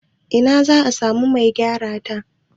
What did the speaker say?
Ina za a samu Mai gyara ta?